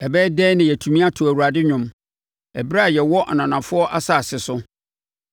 Ɛbɛyɛ dɛn na yɛatumi ato Awurade nnwom ɛberɛ a yɛwɔ ananafoɔ asase so?